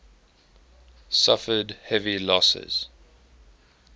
suffered heavy losses